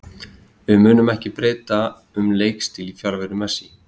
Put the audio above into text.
Við munum ekki breyta um leikstíl í fjarveru Messi.